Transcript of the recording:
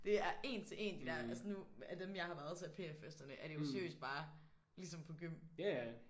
Det er 1 til 1 de der. Altså nu af dem jeg har været til af PA-festerne er det jo seriøst bare ligesom på gym